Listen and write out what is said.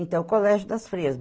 Então, o Colégio das Freiras.